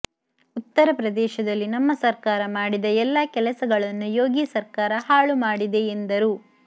ಉತ್ತರಪ್ರದೇಶದಲ್ಲಿ ನಮ್ಮ ಸರ್ಕಾರ ಮಾಡಿದ ಎಲ್ಲಾ ಕೆಲಸಗಳನ್ನು ಯೋಗಿ ಸರ್ಕಾರ ಹಾಳು ಮಾಡಿದೆ ಎಂದರು